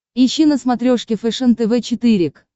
ищи на смотрешке фэшен тв четыре к